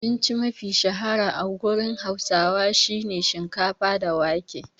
Abinci mafi shahara a gurin hausawa shine shikafa da wake.